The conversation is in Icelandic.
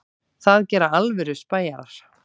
Það gera alvöru spæjarar.